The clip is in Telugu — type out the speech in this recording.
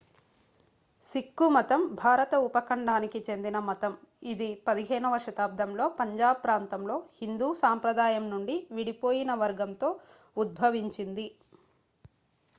సిక్కు మతం భారత ఉపఖండానికి చెందిన మతం ఇది 15వ శతాబ్దంలో పంజాబ్ ప్రాంతంలో హిందూ సంప్రదాయం నుండి విడిపోయిన వర్గంతో ఉద్భవించింది